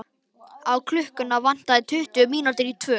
Klukkuna vantaði tuttugu mínútur í tvö.